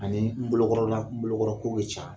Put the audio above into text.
Ani n bolokɔrɔla n bolokɔrɔko bɛ ca